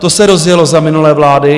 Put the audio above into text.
To se rozjelo za minulé vlády.